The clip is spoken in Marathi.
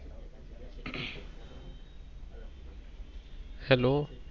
Hello